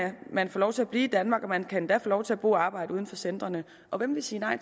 man få lov til at blive i danmark og man kan endda få lov til at bo og arbejde uden for centrene og hvem vil sige nej